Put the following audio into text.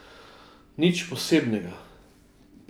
Nič posebnega.